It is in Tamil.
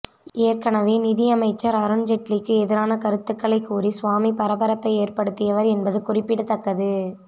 ஏற்கனவே நிதியமைச்சர் அருண்ஜெட்லிக்கு எதிரான கருத்துக்களை கூறி சுவாமி பரபரப்பை ஏறப்டுத்தியவர் என்பது குறிப்பிடத்தக்கது